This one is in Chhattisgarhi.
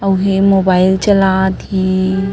अऊ ये मोबाईल चला थे।